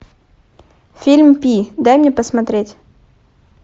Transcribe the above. фильм пи дай мне посмотреть